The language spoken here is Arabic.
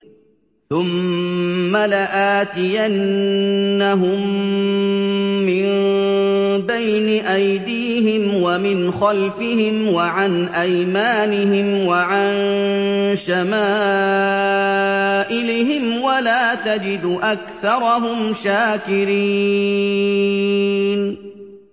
ثُمَّ لَآتِيَنَّهُم مِّن بَيْنِ أَيْدِيهِمْ وَمِنْ خَلْفِهِمْ وَعَنْ أَيْمَانِهِمْ وَعَن شَمَائِلِهِمْ ۖ وَلَا تَجِدُ أَكْثَرَهُمْ شَاكِرِينَ